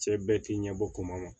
Cɛ bɛɛ k'i ɲɛbɔ kuma ma